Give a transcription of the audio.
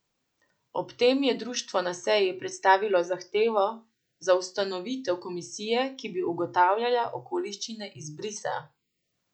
Ob tem je društvo na seji predstavilo zahtevo za ustanovitev komisije, ki bi ugotavljala okoliščine izbrisa.